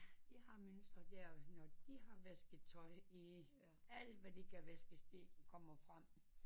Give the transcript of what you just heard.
De har mønstre der når de har vasket tøj i alt hvad de kan vaskes det kommer frem